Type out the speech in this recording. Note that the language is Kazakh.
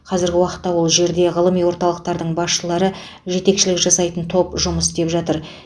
қазіргі уақытта ол жерде ғылыми орталықтардың басшылары жетекшілік жасайтын топ жұмыс істеп жатыр